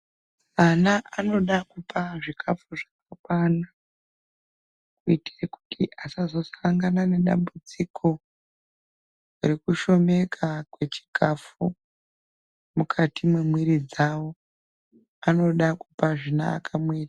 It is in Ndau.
Ana anoda kupa zikafu zvakakwana kuitire kuti asazosangana ngedambudziko rekushomeka kwechikafu mukati mwemwira dzavo vanoda kupa zvinovaka mwiri .